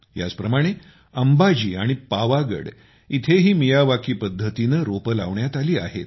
याचप्रमाणे अंबाजी व पावागड येथेही मियावाकी पद्धतीने रोपे लावण्यात आली आहेत